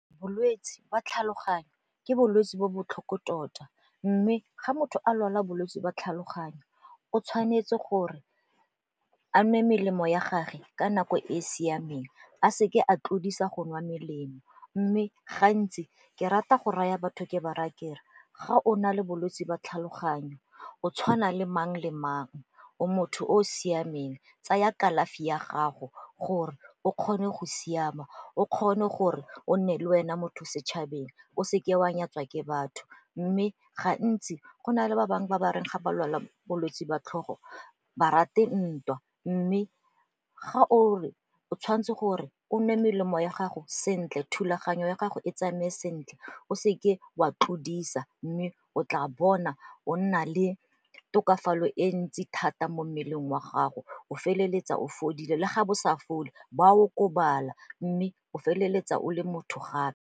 Bolwetsi ba tlhaloganyo ke bolwetse bo botlhoko tota mme ga motho a lwala bolwetsi ba tlhaloganyo o tshwanetse gore a nwe melemo ya gage ka nako e e siameng, a seke a tlodisa go nwa melemo. Mme gantsi ke rata go raya batho ke ba re akere ga o na le bolwetsi jwa tlhaloganyo o tshwana le mang le mang o motho o o siameng tsaya kalafi ya gago gore o kgone go siama, o kgone gore o nne le wena motho setšhabeng o seke wa nyatsa ke batho. Mme gantsi go na le ba bangwe ba bangwe ga ba lwala bolwetsi ba tlhogo ba rate ntwa mme ga o o tshwanetse gore o nwe melemo ya gago sentle, thulaganyo ya gago e tsamaye sentle, o seke wa tlodisa mme o tla bona o nna le tokafalo e ntsi thata mo mmeleng wa gago o feleletsa o fodile le ga bo sa fole bo a okobala mme o feleletsa o le motho gape.